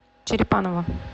черепаново